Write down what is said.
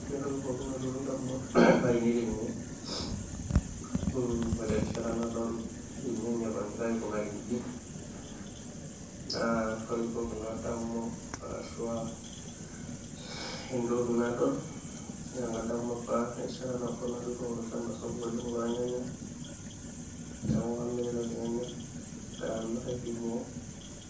Ore entoki pookin nalotu indamunot ainei tene, ore erishata nadol ilnyanya ipingitai aikoji naa ore entoki nadamu arashu entoki nadol naa kadamu apa erishata natuuno olchamba sapuk oleng' loonyanya, neeku kamirita ilnyanya agira amir aipimoo